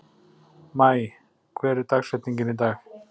Maj, hver er dagsetningin í dag?